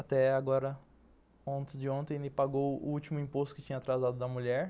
Até agora antes de ontem ele pagou o último imposto que tinha atrasado da mulher.